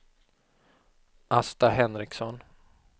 Asta Henriksson